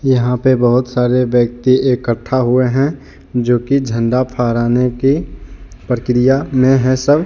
यहां पे बहुत सारे व्यक्ति इकट्ठा हुए हैं जोकि झंडा फहराने की प्रक्रिया में है सब।